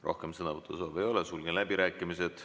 Rohkem sõnavõtusoove ei ole, sulgen läbirääkimised.